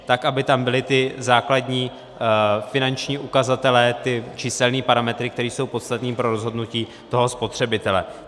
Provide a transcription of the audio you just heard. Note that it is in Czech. Tak, aby tam byly ty základní finanční ukazatele, ty číselné parametry, které jsou podstatné pro rozhodnutí toho spotřebitele.